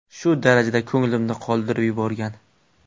Shu darajada ko‘nglimni qoldirib yuborgan.